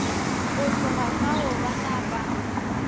go tloga fao ba napa